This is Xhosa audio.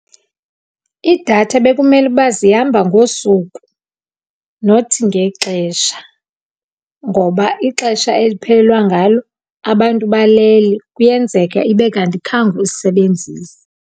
Idatha bekumele uba zihamba ngosuku nothi ngexesha ngoba ixesha eliphelelwa ngalo abantu balele. Kuyenzeka ibe kanti akhange uyisebenzise.